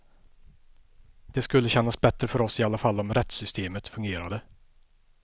Det skulle kännas bättre för oss i alla fall om rättssystemet fungerade.